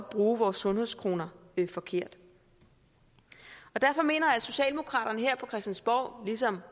bruger vores sundhedskroner forkert derfor mener jeg at socialdemokraterne her på christiansborg ligesom